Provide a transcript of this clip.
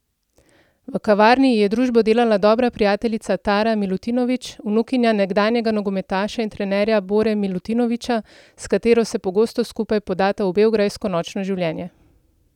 V kavarni ji je družbo delala dobra prijateljica Tara Milutinović, vnukinja nekdanjega nogometaša in trenerja Bore Milutinovića, s katero se pogosto skupaj podata v beograjsko nočno življenje.